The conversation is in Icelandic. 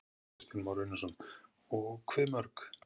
Kristján Már Unnarsson: Og hve mörg?